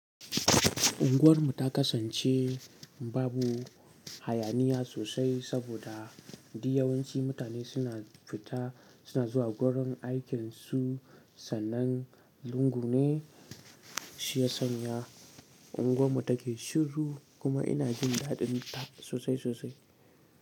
Unguwarmu ta kasance babu hayaniya sosai saboda duk yawanci mutane suna fita, suna zuwa gurin aikinsu. Sannan lungu ne shi ya sanya unguwarmu take shiru. Kuma ina jin daɗinta sosai sosai.